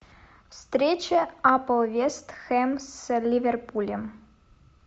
встреча апл вест хэм с ливерпулем